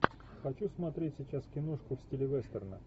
хочу смотреть сейчас киношку в стиле вестерна